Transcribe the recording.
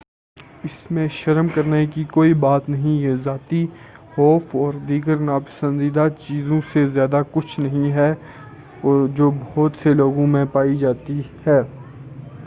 اسمیں شرم کرنے کی کوئی بات نہیں ہے یہ ذاتی خوف اور دیگر ناپسندیدہ چیزوں سے زیادہ کچھ نہیں ہے جو بہت سے لوگوں میں پائی جاتی ہے